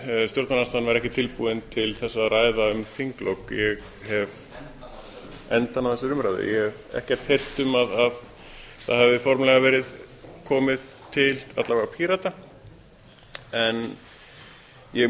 stjórnarandstaðan væri ekkert tilbúin að ræða um þinglok endann á þessari umræðu ég hef ekkert heyrt um að það hafi formlega verið komið til alla vega pírata en ég